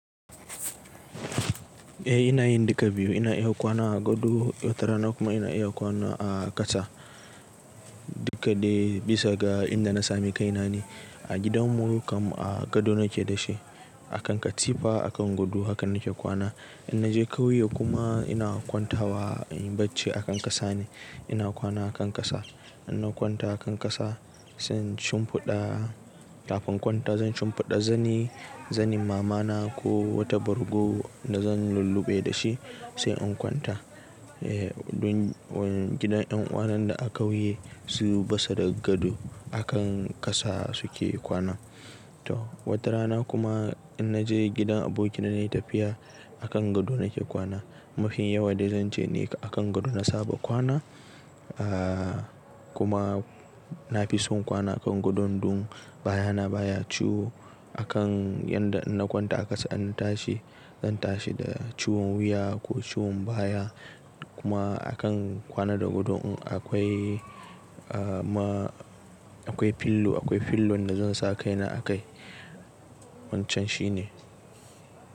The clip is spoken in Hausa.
Eh ina yin duka biyu. Ina iya kwana a gado, wata rana kuma ina iya kwana a ƙasa duka dai bisa ga inda na sami kaina ne. A gidan mu kam a gado nake dashe a kan katifa, a kan gado haka nake kwana. In naje ƙauye kuma ina kwanta wa in yi bacci a kan ƙasa ne, ina kwana a kan ƙasa. In na kwanta a kan ƙasa sai in shimfiɗa, kafin in kwanta zan shimfiɗa zani, zanin mama na ko wata bargo da zan lulluɓe da shi sai in kwanta. Eh don gidan yan uwa nan da a ƙauye su basa da gado a kan ƙasa suke kwana. To wata rana kuma in naje gidan abokina nayi tafiya a kan gado nake kwana. Mafin yawa dai zan ce ne a kan gado na saba kwana, aa kuma na fi son kwana a kan gado dun baya na baya ciwo. Akan yanda in na kwanta a ƙasa an tashi, zan tashi da ciwon wuya ko ciwon baya kuma a kan kwana da gado un akwai ma akwai fillo, akwai fillon da zan sa kaina a kai. Wancan shine.